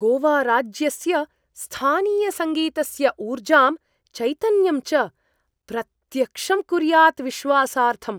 गोवाराज्यस्य स्थानीयस्य सङ्गीतस्य ऊर्जां, चैतन्यं च प्रत्यक्षं कुर्यात् विश्वासार्थम्।